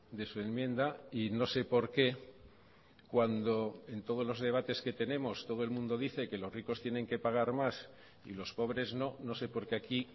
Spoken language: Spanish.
de su enmienda y no sé por qué cuando en todos los debates que tenemos todo el mundo dice que los ricos tienen que pagar más y los pobres no no sé por qué aquí